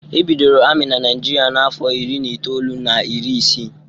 E bidoro ami na Naijiria n'afọ iri na itoolu na iri isii.